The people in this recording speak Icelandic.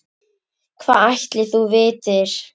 Hvað ætli þú vitir?